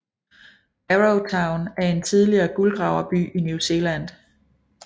Arrowtown er en tidligere guldgraverby i New Zealand